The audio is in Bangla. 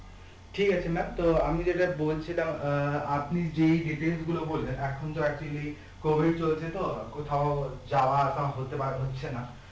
ঠিক আছে maam তো আমি যেটা বলছিলাম আহ আপনি যেই details গুলো বললেন এখন তো এতদিনে covid চোলছে তো কোথাও যাওয়া আসা হাতে পারছে না